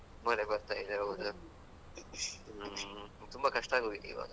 ಮಳೆ ಬರ್ತಾಯಿದೆ ಹೌದು. ಹ್ಮ್ ತುಂಬಾ ಕಷ್ಟ ಆಗೋಗಿದೆ ಇವಾಗ.